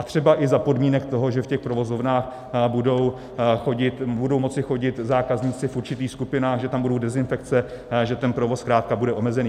A třeba i za podmínek toho, že v těch provozovnách budou moci chodit zákazníci v určitých skupinách, že tam budou dezinfekce, že ten provoz zkrátka bude omezený.